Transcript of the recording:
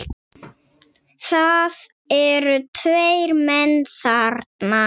Það eru tveir menn þarna